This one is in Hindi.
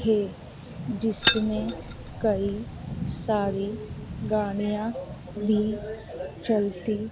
है जिसमें कई सारी गाड़ियां भी चलती--